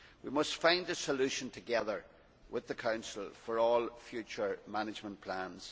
We must find a solution together with the Council for all future management plans.